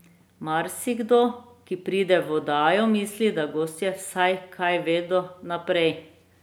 Marsikdo, ki pride v oddajo, misli, da gostje vsaj kaj vedo vnaprej.